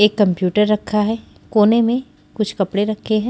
एक कंप्यूटर रखा है कोने में कुछ कपड़े रखे हैं।